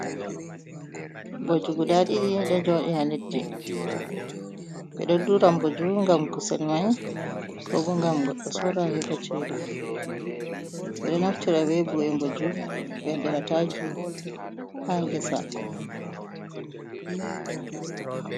Mboju gudaa ɗiɗi ɗo jooɗi haa leddi, ɓe ɗo dura mbooji ngam kusel may, koo boo ngam goɗɗo sorra heɓa ceede, ɓe ɗo naftira bee bu’e Mbooju ɓe waɗira taaki haa ngesa.